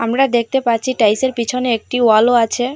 আমরা দেখতে পাচ্ছি টাইলসের পিছনে একটি ওয়ালও আছে।